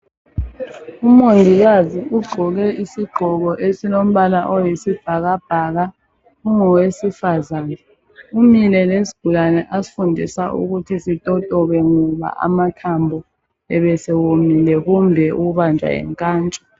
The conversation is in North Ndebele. Umongikazi ugqoke isigqoko esilombala oyisibhakabhaka ungowesifazane , umile lesigulane asifundisa sitotobe ngoba amathambo ebesewomile kumbe ukubanjwa yinkantsho